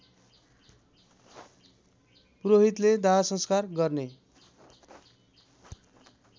पुरोहितले दाहसंस्कार गर्ने